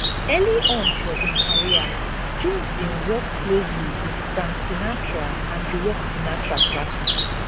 early on for im career jones bin work closely wit frank sinatra and rework sinatra classic